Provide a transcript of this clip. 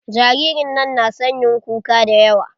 Jaririn nan na son yin kuka da yawa.